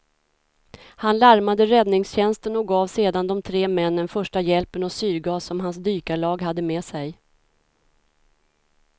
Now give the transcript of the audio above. Han larmade räddningstjänsten och gav sedan de tre männen första hjälpen och syrgas som hans dykarlag hade med sig.